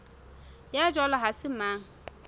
ya jwalo ha se mang